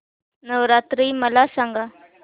नवरात्री मला सांगा